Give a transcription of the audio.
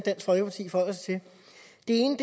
ene